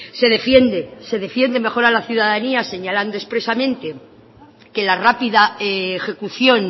se defiende se defiende mejora la ciudadanía señalando expresamente que la rápida ejecución